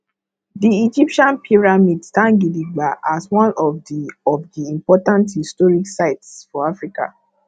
di egyptian pyramid stand gidigba as one of di of di important historic sites for africa